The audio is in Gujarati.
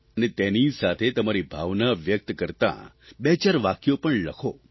અને તેની સાથે તમારી ભાવના વ્યક્ત કરતાં બેચાર વાક્યો પણ લખો